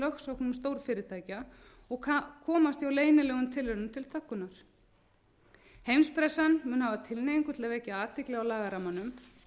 lögsóknum stórfyrirtækja og komast hjá leynilegum tilraunum til þöggunar heimspressan mundi hafa tilhneigingu til að vekja athygli á lagarammanum